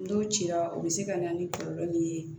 N'o cira o bɛ se ka na ni kɔlɔlɔ nin ye